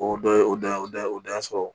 O dɔ ye o da o da o dan sɔrɔ